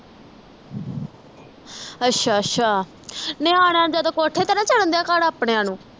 ਅੱਛਾ ਅੱਛਾ ਨਿਆਣਿਆਂ ਨੂੰ ਜਦੋਂ ਕੋਠੇ ਤੇ ਨਾ ਚੜਨ ਦਿਆਂ ਕਰ ਆਪਣੀਆਂ ਨੂੰ